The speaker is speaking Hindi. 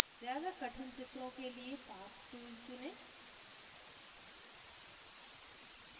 ज़्यादा कठिन चित्रों के लिए path tool चुनें